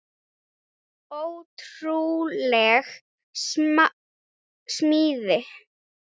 Ótrúleg smíð.